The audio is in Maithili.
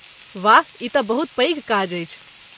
वाह... ई तँ बहुत पैघ काज अछि!